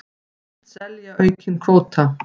Hyggst selja aukinn kvóta